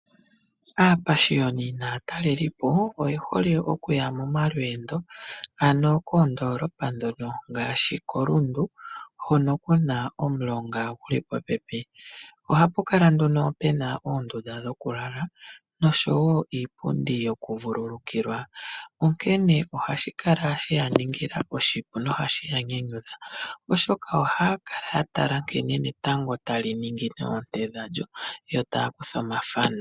Aapashiyoni naatalelelipo oye hole okuya momalweendo ano koondoolopa ndhono ngaashi koRundu hono kuna omulonga guli popepi. Ohapu kala nduno puna oondunda dhokulala nosho wo iipundi yokuvululukilwa onkene ohashi kala she ya ningila oshipu nohashi ya nyanyudha oshoka ohaya kala ya tala nkene netango tali ningine oonte dhalyo yo taya kutha omathano.